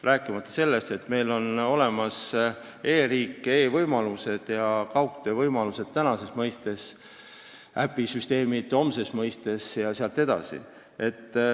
Rääkimata sellest, et meil on olemas e-riik, e-võimalused ja kaugtöövõimalused tänases mõistes, äpisüsteemid homses mõistes jne.